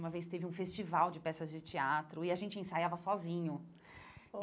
Uma vez teve um festival de peças de teatro e a gente ensaiava sozinho.